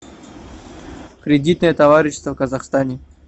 кредитное товарищество в казахстане